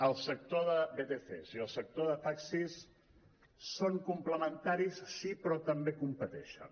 el sector de vtcs i el sector de taxis són complementaris sí però també competeixen